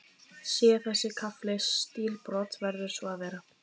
Sé þessi kafli stílbrot, verður svo að vera.